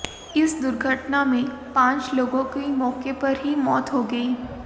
इस दुर्घटना में पांच लोगों की मौके पर ही मौत हो गयी